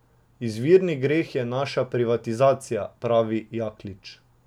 Izvirni greh je naša privatizacija, pravi Jaklič.